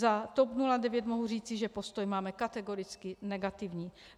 Za TOP 09 mohu říci, že postoj máme kategoricky negativní.